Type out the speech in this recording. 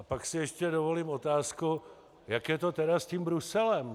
A pak si ještě dovolím otázku, jak je to tedy s tím Bruselem.